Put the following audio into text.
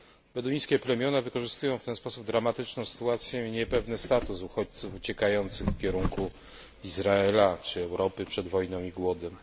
Beduińskie plemiona wykorzystują w ten sposób dramatyczną sytuację i niepewny status uchodźców uciekających w kierunku Izraela czy Europy przed wojną i głodem.